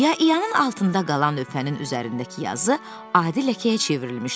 İya İyanın altında qalan lövhənin üzərindəki yazı adi ləkəyə çevrilmişdi.